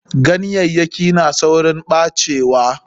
Ganyayyaki na tsaurin ɓacewa.